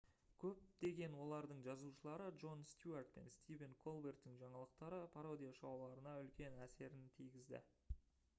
көптеген олардың жазушылары джон стюарт пен стивен колберттің жаңалықтар пародия шоуларына үлкен әсерін тигізді